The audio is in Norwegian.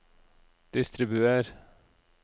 distribuer